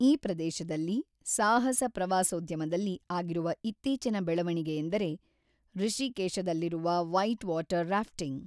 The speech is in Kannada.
ಈ ಪ್ರದೇಶದಲ್ಲಿ ಸಾಹಸ ಪ್ರವಾಸೋದ್ಯಮದಲ್ಲಿ ಆಗಿರುವ ಇತ್ತೀಚಿನ ಬೆಳವಣಿಗೆಯೆಂದರೆ ಋಷೀಕೇಶದಲ್ಲಿರುವ ವೈಟ್‌ವಾಟರ್ ರಾಫ್ಟಿಂಗ್.